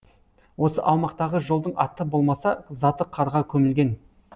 осы аумақтағы жолдың аты болмаса заты қарға көмілген